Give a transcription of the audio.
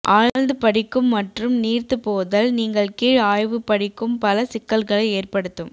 ஆழ்ந்து படிக்கும் மற்றும் நீர்த்துப்போதல் நீங்கள் கீழ் ஆய்வு படிக்கும் பல சிக்கல்களை ஏற்படுத்தும்